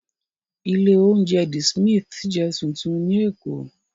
Ilé-oúnjẹ The Smith jẹ́ tuntun ní Èkó.